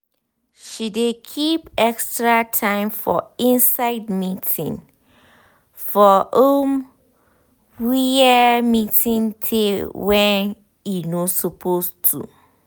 she dey keep extra time for inside meeting for um wia meeting teyy wen um e no suppose to